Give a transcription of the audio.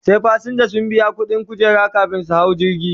Sai fasinja sun biya ƙuɗin kujera kamin su hau jirgi